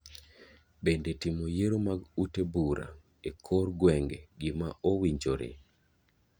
Bende timo yiero mag ute bura e kor gweng'e gima owinjore?